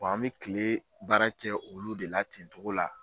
Wa an me kile baara kɛ olu de la ten togo la